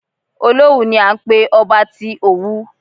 Olówù ni à ń pé ọba tí Òwu.